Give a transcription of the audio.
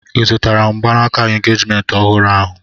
I zụtara mgbanaka engejiment ọhụrụ ahụ?